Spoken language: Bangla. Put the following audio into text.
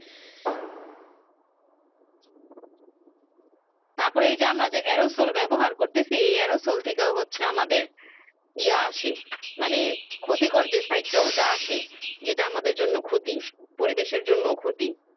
তারপরে আমরা যে aerosol বাবহার করতেছি এই aerosol থেকে হচ্ছে আমাদের ইয়ে আসে মানে ক্ষতিকর যে Said টা ঐটা আসে যেটা আমাদের জন্য ক্ষতি পরিবেশের জন্যও ক্ষতি